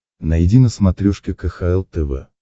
найди на смотрешке кхл тв